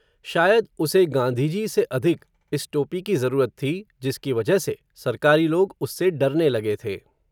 शायद उसे, गांधी जी से अधिक, इस टोपी की ज़रूरत थी, जिसकी वजह से, सरकारी लोग, उससे डरने लगे थे